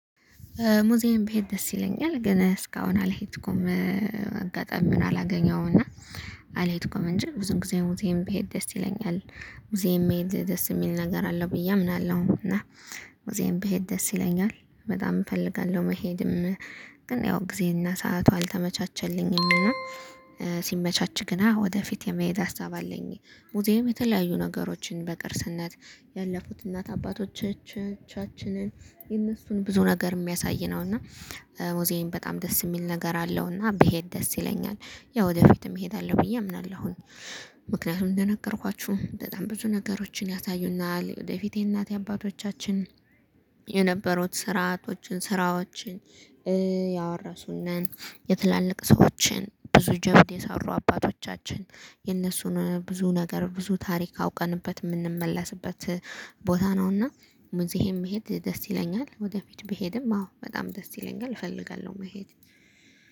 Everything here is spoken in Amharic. ሙዚየም ብሄድ ደስ ይለኛል ግን እስካሁን አልሄድኩም። አጋጣሚውን አላገኘሁም እና አልሄድኩም እንጂ ብዙ ጊዜ ሙዜም ብሄድ ደስ ይለኛል። ሙዜም መሄድ ደስ የሚል ነገር አለው ብዬ አምናለሁ። እና ሙዜም ብሄድ ደስ ይለኛል በጣም እፈልጋለሁ መሄድም። ግን ያው ጊዜና ሰዓቱ አልተመቻቸልኝም እና ሲመቻች ግና ወደፊት የመሄድ ሀሳብ አለኝ። ሙዚየም የተለያዩ ነገሮችን በቅርስነት ያለፉት እናት አባቶቻችንን የነሱን ብዙ ነገር የሚያሳይ ነው። እና ሙዝየም በጣም ደስ የሚል ነገር አለው እና ብሄድ ደስ ይለኛል። ያው ወደፊትም እሄዳለሁ ብዬ አምናለሁ። ምክንያቱም እንደነገርኳችሁ በጣም ብዙ ነገሮችን ያሳዩናል ወደፊቴ እናቴ አባቶቻችን የነበሩት ስራቶችን ስራዎችን ያወረሱንን የትላልቅ ሰዎችን ብዙ ጀብድ የሰሩ አባቶቻችን የነሱን ብዙ ነገር ብዙ ታሪክ አውቀንበት የምንመለስበት ቦታ ነውና። ሙዝየም መሄድ ደስ ይለኛል ወደፊት ብሄድም አዎ በጣም ደስ ይለኛል እፈልጋለሁ መሄድ